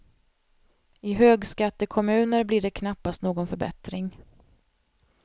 I högskattekommuner blir det knappast någon förbättring.